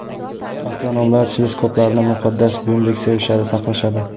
Astronomlar teleskoplarni muqaddas buyumdek sevishadi, saqlashadi.